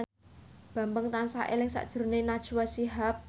Bambang tansah eling sakjroning Najwa Shihab